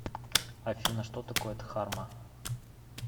афина что такое дхарма